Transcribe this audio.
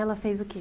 Ela fez o que?